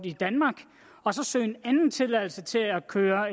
i danmark og så søge en anden tilladelse til at køre